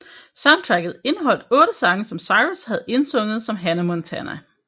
Soundtracket indeholdte otte sange som Cyrus havde sunget som Hannah Montana